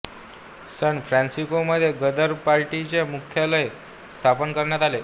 San फ्रान्सिस्कोमध्ये गदर पार्टीचे मुख्यालय स्थापन करण्यात आले